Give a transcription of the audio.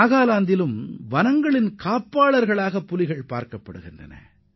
நாகாலாந்திலும் புலிகள் வனப்பாதுகாவல்களாக திகழ்கின்றன